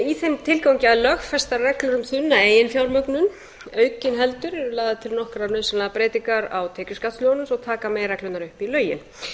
í þeim tilgangi að lögfesta reglur um um þunna eiginfjármögnun aukin heldur eru lagðar til nokkrar nauðsynlegar breytingar á tekjuskattslögunum svo taka megi reglurnar upp í lögin